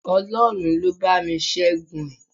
Ọlọ́run ló bá mi Ṣẹ́gun ẹ̀